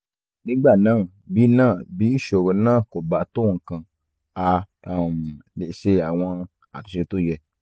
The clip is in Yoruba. nígbà náà bí náà bí ìṣòro náà kò bá tó nǹkan a um lè ṣe àwọn àtúnṣe tó yẹ